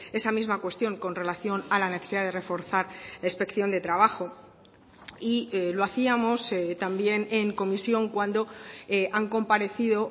esa misma cuestión con relación a la necesidad de reforzar la inspección de trabajo y lo hacíamos también en comisión cuando han comparecido